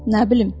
Nə bilim.